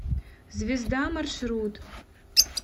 звезда маршрут